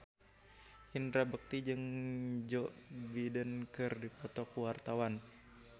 Indra Bekti jeung Joe Biden keur dipoto ku wartawan